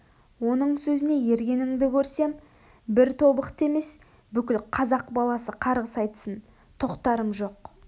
оның сөзіне ергенінді көрсем бір тобықты емес бүкіл қазақ баласы қарғыс айтсын тоқтарым жоқ